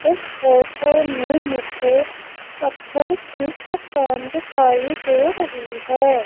इस फोटो में मुझे पत्थर की चट्टान दिखाई दे रही है।